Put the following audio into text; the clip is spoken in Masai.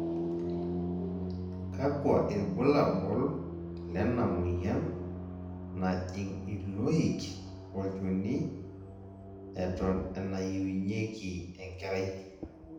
kakua irbulabol lenamoyian najing, iloik, olchoni eton enayiunyieki enkerai?